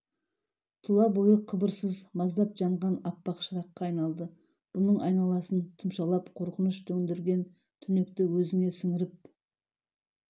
тұла бойы қыбырсыз маздап жанған аппақ шыраққа айналды бұның айналасын тұмшалап қорқыныш төндірген түнекті өзіне сіңіріп